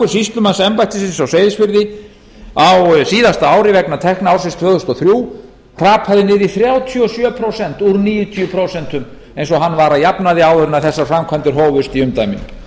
sýslumannsembættisins á seyðisfirði á síðasta ári vegna tekna ársins tvö þúsund og þrjú hrapaði niður í þrjátíu og sjö prósent úr níutíu prósent eins og hann var að jafnaði áður en þessar framkvæmdir hófust í umdæminu